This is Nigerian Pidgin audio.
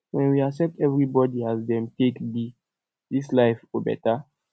wen we accept everybody as dem take be dis life go beta